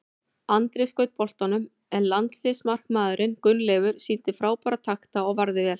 Andri skaut boltanum en landsliðsmarkmaðurinn Gunnleifur sýndi frábæra takta og varði vel.